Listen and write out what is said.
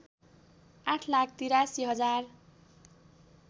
आठ लाख ८३ हजार